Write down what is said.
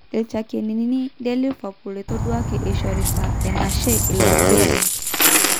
Lchakenini le Liverpool etoduaki eshorita enashe ilo aigurani.